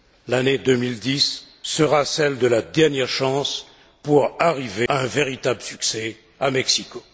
L'année 2010 sera celle de la dernière chance si l'on veut garantir un véritable succès à Mexico.